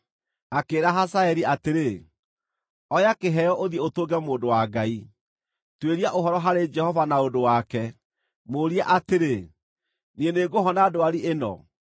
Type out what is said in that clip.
akĩĩra Hazaeli atĩrĩ, “Oya kĩheo, ũthiĩ ũtũnge mũndũ wa Ngai. Tuĩria ũhoro harĩ Jehova na ũndũ wake; mũũrie atĩrĩ, ‘Niĩ nĩngũhona ndwari ĩno?’ ”